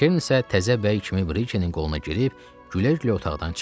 Kerin isə təzə bəy kimi Brikenin qoluna girib gülə-gülə otaqdan çıxdı.